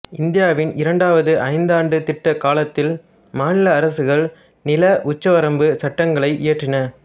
இந்தியாவின் இரண்டாவது ஐந்தாண்டுத் திட்ட காலத்தில் மாநில அரசுகள் நில உச்சவரம்புச் சட்டங்களை இயற்றின